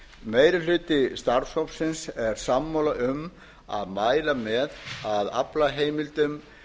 meiri hluti starfshópsins er sammála um að mæla með að aflaheimildum